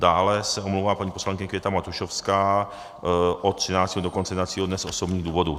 Dále se omlouvá paní poslankyně Květa Matušovská od 13 hodin do konce jednacího dne z osobních důvodů.